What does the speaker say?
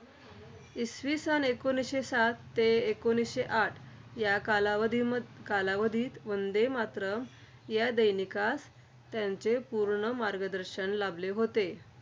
इसवी सन एकोणीसशे सात ते एकोणीसशे आठ या कालावधीमध्य कालावधीत वंदे मातरम् या दैनिकास त्यांचे पूर्ण मार्गदर्शन लाभले होते.